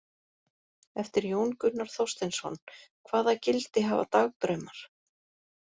Eftir Jón Gunnar Þorsteinsson: Hvaða gildi hafa dagdraumar?